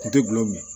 Kun tɛ gulɔ min